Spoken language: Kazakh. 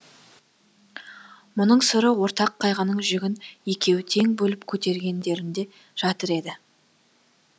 мұның сыры ортақ қайғының жүгін екеуі тең бөліп көтергендерінде жатыр еді